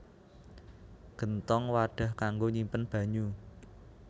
Genthong wadhah kanggo nyimpen banyu